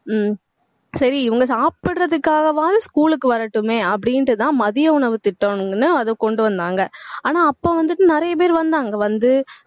ஹம் சரி, இவங்க சாப்பிடறதுக்காகவாவது school க்கு வரட்டுமே அப்படின்னுட்டுதான் மதிய உணவுத் திட்டம்னு அதை கொண்டு வந்தாங்க ஆனா அப்ப வந்துட்டு நிறைய பேர் வந்து